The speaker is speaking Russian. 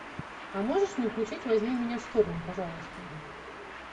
а можешь мне включить возьми меня штурмом пожалуйста